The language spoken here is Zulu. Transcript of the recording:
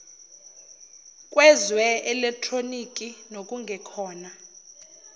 kweze elekhtronikhi nokungekhona